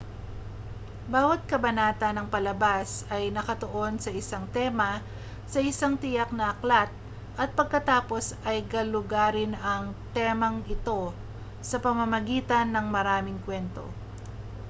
bawat kabanata ng palabas ay nakatuon sa isang tema sa isang tiyak na aklat at pagkatapos ay galugarin ang temang ito sa pamamagitan ng maraming kuwento